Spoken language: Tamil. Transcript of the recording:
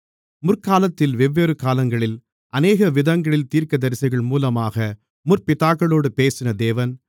முற்காலத்தில் வெவ்வேறு காலங்களில் அநேக விதங்களில் தீர்க்கதரிசிகள் மூலமாக முற்பிதாக்களோடு பேசின தேவன்